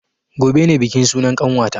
Gobe ne bikin sunan ƙanwata